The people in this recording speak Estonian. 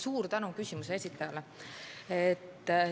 Suur tänu küsimuse esitajale!